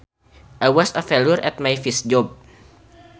I was a failure at my first job